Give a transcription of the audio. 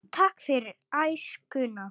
Takk fyrir æskuna.